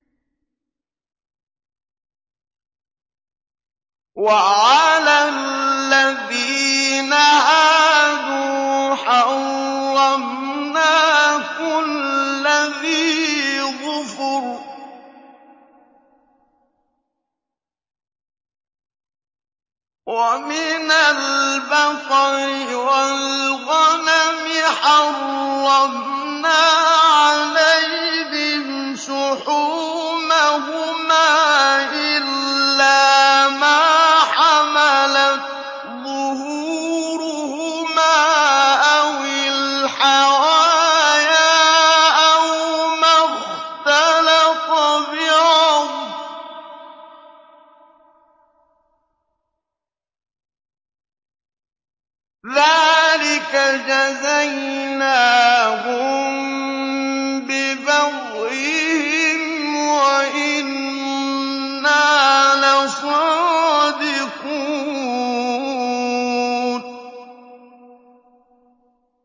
وَعَلَى الَّذِينَ هَادُوا حَرَّمْنَا كُلَّ ذِي ظُفُرٍ ۖ وَمِنَ الْبَقَرِ وَالْغَنَمِ حَرَّمْنَا عَلَيْهِمْ شُحُومَهُمَا إِلَّا مَا حَمَلَتْ ظُهُورُهُمَا أَوِ الْحَوَايَا أَوْ مَا اخْتَلَطَ بِعَظْمٍ ۚ ذَٰلِكَ جَزَيْنَاهُم بِبَغْيِهِمْ ۖ وَإِنَّا لَصَادِقُونَ